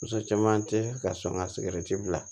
Muso caman tɛ ka sɔn ka bila